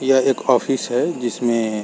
यह एक ओफिस है जिसमें